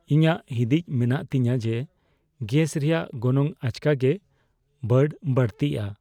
ᱤᱧᱟᱹᱜ ᱦᱤᱫᱤᱡ ᱢᱮᱱᱟᱜ ᱛᱤᱧᱟᱹ ᱡᱮ ᱜᱮᱥ ᱨᱮᱭᱟᱜ ᱜᱚᱱᱚᱝ ᱟᱪᱠᱟᱜᱮ ᱵᱟᱹᱰᱼᱵᱟᱹᱲᱛᱤᱜᱼᱟ ᱾